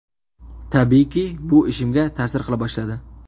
Tabiiyki, bu ishimga ta’sir qila boshladi.